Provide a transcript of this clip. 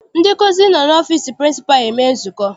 Ndị nkụzi nọ n'ọfịịsi pịrịnsịpalụ eme nzukọ.